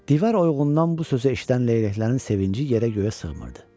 Divar oyuğundan bu sözü eşidən leyləklərin sevinci yerə-göyə sığmırdı.